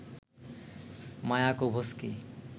Mayakovsky